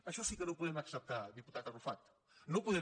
això sí que no ho podem acceptar diputat arrufat no ho podem